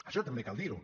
això també cal dir ho